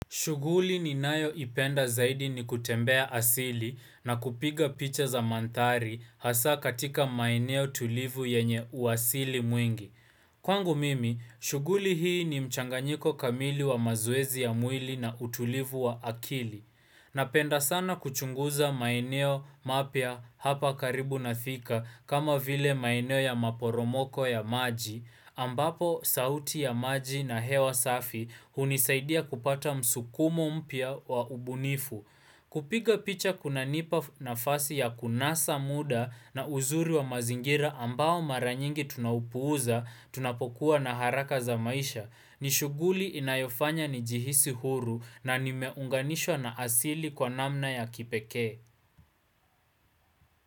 Shuguli ninayo ipenda zaidi ni kutembea asili na kupiga picha za mandhari hasa katika maeneo tulivu yenye uasili mwingi. Kwangu mimi, shuguli hii ni mchanganyiko kamili wa mazoezi ya mwili na utulivu wa akili. Napenda sana kuchunguza maeneo mapya hapa karibu na thika kama vile maeneo ya maporomoko ya maji, ambapo sauti ya maji na hewa safi hunisaidia kupata msukumo mpya wa ubunifu. Kupiga picha kuna nipa na fasi ya kunasa muda na uzuri wa mazingira ambao maranyingi tunaupuuza, tunapokuwa na haraka za maisha. Nishuguli inayofanya nijihisi huru na nimeunganishwa na asili kwa namna ya kipeke.